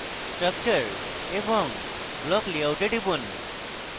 structure এবং block layout এ টিপুন